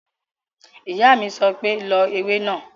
Ìyá mi sọ pé "lọ ewé náà!"